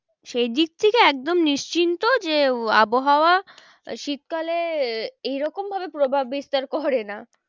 সেদিক থেকে একদম নিশ্চিন্ত যে আবহাওয়া শীতকালে এরকম ভাবে প্রভাব বিস্তার করে না।